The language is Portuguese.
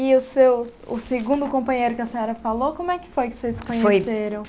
E o seu o segundo companheiro que a senhora falou, como é que foi que vocês se conheceram?